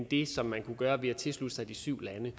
det som man kunne gøre ved at tilslutte sig de syv lande